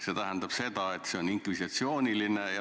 See tähendab seda, et see on inkvisitsiooniline.